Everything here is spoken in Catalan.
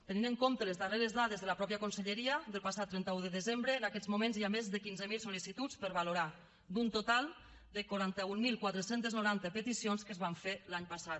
tenint en compte les darreres dades de la mateixa conselleria del passat trenta un de desembre en aquests moments hi ha més de quinze mil sol·licituds per valorar d’un total de quaranta mil quatre cents i noranta peticions que es van fer l’any passat